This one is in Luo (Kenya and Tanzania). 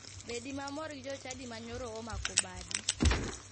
Bedi mamor gi jochadi ma nyoro omako badi.